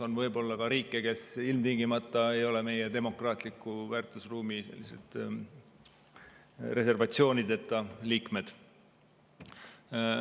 NATO-s on ka riike, kes ilmtingimata ei ole meie demokraatliku väärtusruumi reservatsioonideta liikmed.